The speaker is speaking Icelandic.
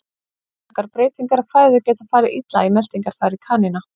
Snöggar breytingar á fæðu geta farið illa í meltingarfæri kanína.